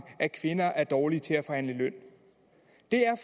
at kvinder er dårlige til at forhandle løn det